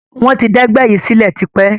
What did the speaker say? Wọn tí d ẹgbẹ́ yìí sílẹ̀ tipẹ́